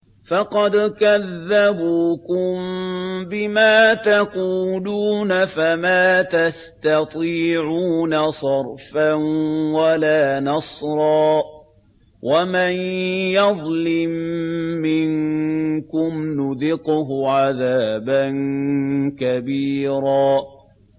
فَقَدْ كَذَّبُوكُم بِمَا تَقُولُونَ فَمَا تَسْتَطِيعُونَ صَرْفًا وَلَا نَصْرًا ۚ وَمَن يَظْلِم مِّنكُمْ نُذِقْهُ عَذَابًا كَبِيرًا